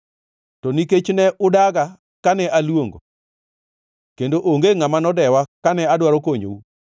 To nikech ne udaga kane aluongo kendo onge ngʼama nodewa kane adwaro konyou,